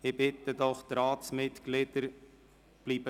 Ich bitte die Ratsmitglieder doch: